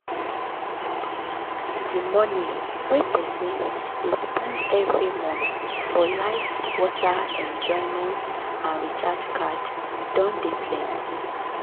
d money wey person dey spend every month for light water enjoyment and recharge card don de plenty